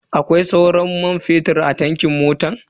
Akwai sauran man fetur a tankin motan?